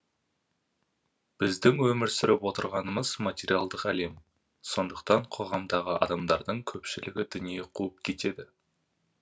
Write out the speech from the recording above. біздің өмір сүріп отырғанымыз материалдық әлем сондықтан қоғамдағы адамдардың көпшілігі дүние қуып кетеді